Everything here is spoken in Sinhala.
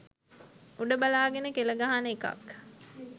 උඩ බලාගෙන කෙල ගහන එකක්